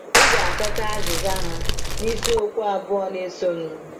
Ị ga - achọta azịza ha n’isiokwu abụọ na - esonụ.